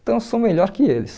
Então eu sou melhor que eles.